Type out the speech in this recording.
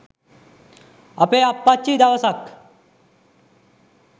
අපේ අප්පච්චි දවසක්